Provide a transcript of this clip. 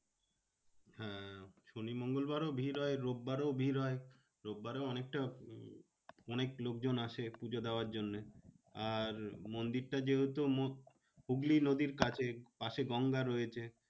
শনি মঙ্গলবারও ভিড় হয়। রবিবারও ভিড় হয়। রবিবারে অনেকটা অনেক লোকজন আসে পুজো দেওয়ার জন্যে। আর মন্দিরটা যেহেতু হুগলি নদীর কাছে পাশে গঙ্গা রয়েছে